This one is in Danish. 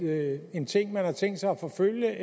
det en ting man har tænkt sig at forfølge